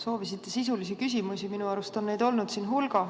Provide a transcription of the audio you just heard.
Soovisite sisulisi küsimusi, minu arust on neid olnud siin hulga.